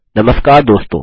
नमस्कार दोस्तों